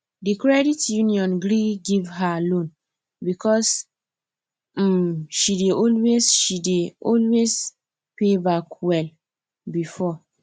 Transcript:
the credit union gree give her loan because um she dey always she dey always pay back well before